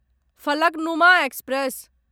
Falaknuma express